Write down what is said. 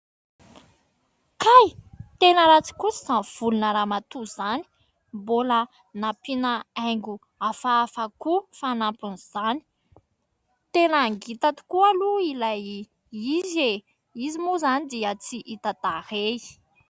Kay ! Tena ratsy kosa izany volona ramatoa izany. Mbola nampiana haingo hafahafa koa fanampin'izany. Tena ngita tokoa aloha ilay izy eh. Izy moa izany dia tsy hita tarehy.